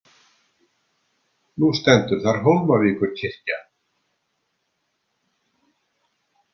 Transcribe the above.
Nú stendur þar Hólmavíkurkirkja.